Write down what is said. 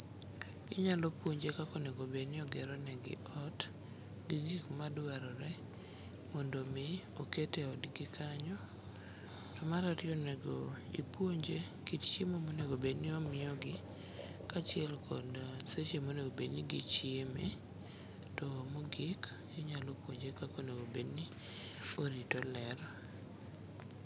Inyalo puonje kaka onego bedni ogeronegi ot gi gik madwarore mondo omi oket e odgi kanyo. To mar ariyo onego ipuonje kit chiemo monegobed ni omiyogi kaachiel kod seche monegobed ni gichieme to mogik inyalo puonje kaka onego bedni orito ler.